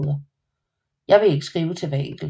Jeg vil ikke skrive til hver enkelt